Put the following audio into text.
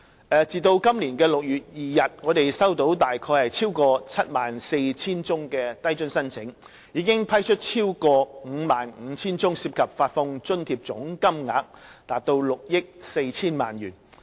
截至今年6月2日，低津計劃收到大約逾 74,000 宗申請，我們已批出超過 55,000 宗，涉及發放津貼總金額逾6億 4,000 萬元。